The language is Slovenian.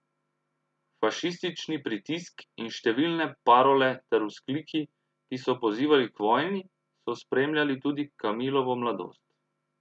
Fašistični pritisk in številne parole ter vzkliki, ki so pozivali k vojni, so spremljali tudi Kamilovo mladost.